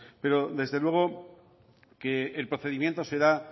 pero desde luego que el procedimiento será